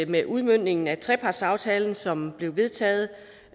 med udmøntningen af trepartsaftalen som blev vedtaget